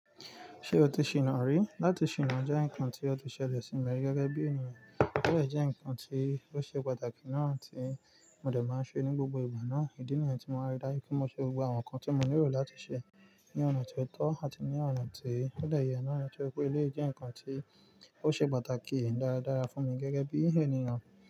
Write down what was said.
Ṣé o ti ṣìná rí? Lati ṣìná jẹ́ nǹkan tí o ti ṣẹ̀lẹ̀ sí mi gẹ́gẹ́ bí ènìyàn, ò dẹ́ nǹkan tí ó ṣe pàtàkì náà tí mo dẹ̀ máa ń ṣe ní gbogbo ìgbà náà. Ìdí nìyẹn tí mo máa ń ri dájú pé mo ṣe gbogbo àwọn nǹkan tí mo nílò láti ṣe ní ọ̀nà tó tọ́ àti ní ọ̀nà tó de yẹ náà torí pé eléyìí jẹ́ nǹkan tí ó ṣe pàtàkì dára dára fún mi gẹ́gẹ́ bí ènìyàn.